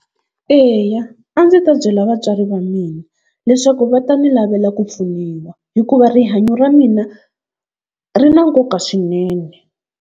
Eya a ndzi ta byela vatswari va mina leswaku va ta ni lavela ku pfuniwa hikuva rihanyo ra mina ri na nkoka swinene.